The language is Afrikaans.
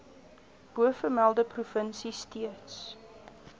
bovermelde provinsie steeds